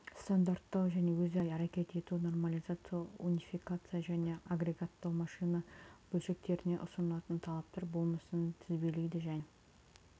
стандарттау мен өзара әрекет ету нормализация унификация және агрегаттау машина бөлшектеріне ұсынылатын талаптар болмысын тізбелейді және